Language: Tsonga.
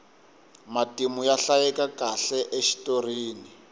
matimu ya hlayekakahle exitorini